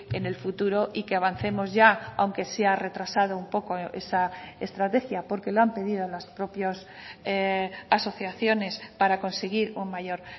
en el futuro y que avancemos ya aunque se ha retrasado un poco esa estrategia porque lo han pedido las propias asociaciones para conseguir un mayor